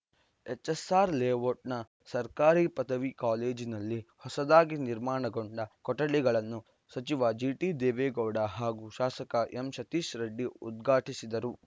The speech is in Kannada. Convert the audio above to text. ಎಚ್‌ಎಸ್‌ಆರ್‌ ಲೇಔಟ್‌ನ ಸರ್ಕಾರಿ ಪದವಿ ಕಾಲೇಜಿನಲ್ಲಿ ಹೊಸದಾಗಿ ನಿರ್ಮಾಣಗೊಂಡ ಕೊಠಡಿಗಳನ್ನು ಸಚಿವ ಜಿಟಿದೇವೇಗೌಡ ಹಾಗೂ ಶಾಸಕ ಎಂಸತೀಶ್‌ ರೆಡ್ಡಿ ಉದ್ಘಾಟಿಸಿದರು